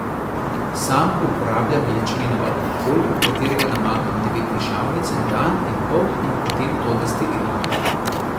Sam uporabljam ječmenov alkohol, v katerega namakam devet dišavnic en dan in pol in potem to destiliram.